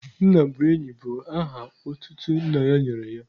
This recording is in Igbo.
Nna bụ enyi bụ aha otutu nna ya nyere ya.